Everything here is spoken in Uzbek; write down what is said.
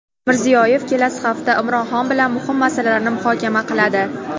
Mirziyoyev kelasi hafta Imron Xon bilan muhim masalalarni muhokama qiladi.